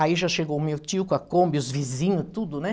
Aí já chegou o meu tio com a Kombi, os vizinhos, tudo, né?